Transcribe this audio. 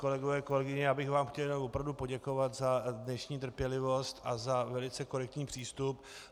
Kolegové, kolegyně, já bych vám chtěl opravdu poděkovat za dnešní trpělivost a za velice korektní přístup.